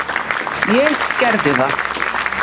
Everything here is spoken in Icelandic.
Ég gerði það.